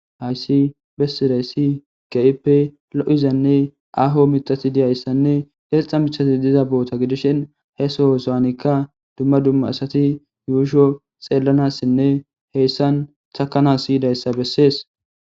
Hayssi bessidayssi ga'ipe lo'izanne aho mitati diyayssanne erxa mithati diza boota gidishin he sohosaanikka dumma dumma asati yuusho xeellanassinne heyssan thakana siyidayssa bessees.